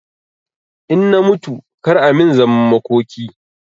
In na mutu kar a min zaman makoki